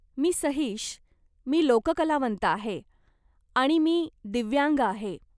मी सहीश, मी लोककलावंत आहे, आणि मी दिव्यांग आहे.